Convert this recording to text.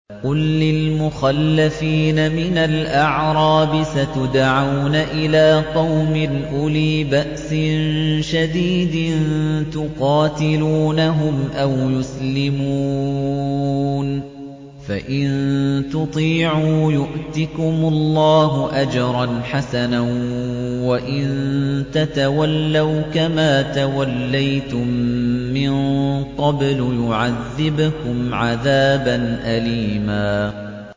قُل لِّلْمُخَلَّفِينَ مِنَ الْأَعْرَابِ سَتُدْعَوْنَ إِلَىٰ قَوْمٍ أُولِي بَأْسٍ شَدِيدٍ تُقَاتِلُونَهُمْ أَوْ يُسْلِمُونَ ۖ فَإِن تُطِيعُوا يُؤْتِكُمُ اللَّهُ أَجْرًا حَسَنًا ۖ وَإِن تَتَوَلَّوْا كَمَا تَوَلَّيْتُم مِّن قَبْلُ يُعَذِّبْكُمْ عَذَابًا أَلِيمًا